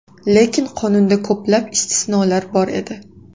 Lekin qonunda ko‘plab istisnolar bor edi.